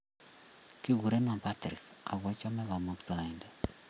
Kikurenon Patrik ako achame kamuktaindet